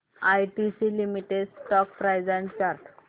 ITC limited stock price and chart